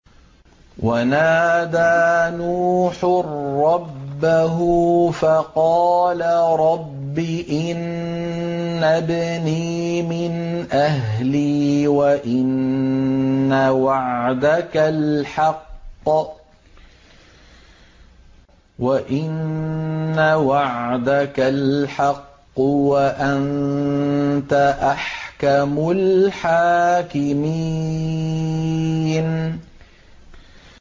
وَنَادَىٰ نُوحٌ رَّبَّهُ فَقَالَ رَبِّ إِنَّ ابْنِي مِنْ أَهْلِي وَإِنَّ وَعْدَكَ الْحَقُّ وَأَنتَ أَحْكَمُ الْحَاكِمِينَ